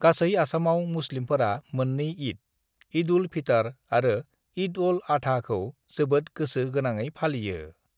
गासै आसामआव मुस्लिमफोरा मोननै ईद (ईद उल-फितर आरो ईद अल-अधा) खौ जोबोद गोसो गोनाङै फालियो।